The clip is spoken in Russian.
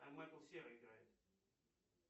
там майкл серый играет